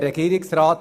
der SiK.